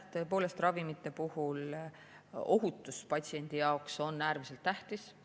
Tõepoolest, ravimite puhul on ohutus patsiendi jaoks äärmiselt tähtis.